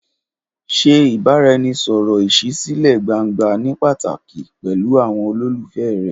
Ṣe ìbáraẹnisọ̀rọ̀ ìṣísílẹ̀ gbangba ní pàtàkì pẹ̀lú àwọn olólùfẹ́ rẹ.